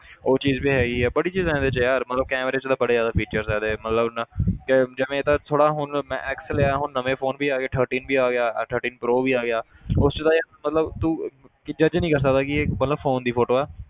ਉਹ ਚੀਜ਼ ਵੀ ਹੈਗੀ ਹੈ ਬੜੀ ਚੀਜ਼ਾਂ ਇਹਦੇ 'ਚ ਯਾਰ ਮਤਲਬ camera 'ਚ ਤਾਂ ਬੜੇ ਜ਼ਿਆਦਾ features ਹੈ ਇਹਦੇ ਮਤਲਬ ਨਾ ਕਿ ਜਿਵੇਂ ਇਹ ਤਾਂ ਥੋੜ੍ਹਾ ਹੁਣ ਮੈਂ x ਲਿਆ ਹੁਣ ਨਵੇਂ phone ਵੀ ਆ ਗਏ thirteen ਵੀ ਆ ਗਿਆ ਆਹ thirteen pro ਵੀ ਆ ਗਿਆ ਉਸ 'ਚ ਤਾਂ ਯਾਰ ਮਤਲਬ ਤੂੰ ਕਿ judge ਨੀ ਕਰ ਸਕਦਾ ਕਿ ਇਹ ਮਤਲਬ phone ਦੀ photo ਹੈ